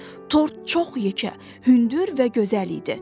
Tort çox yekə, hündür və gözəl idi.